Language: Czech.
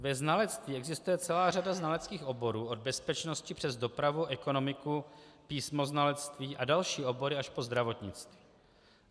Ve znalectví existuje celá řada znaleckých oborů, od bezpečnosti přes dopravu, ekonomiku, písmoznalectví a další obory až po zdravotnictví.